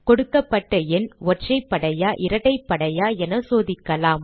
கொடுக்கப்பட்ட எண் ஒற்றைப்படையா இரட்டைப்படையா என சோதிக்கலாம்